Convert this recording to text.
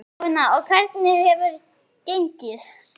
Jóhanna: Og hvernig hefur gengið?